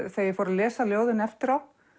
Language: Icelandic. þegar ég fór að lesa ljóðin eftirá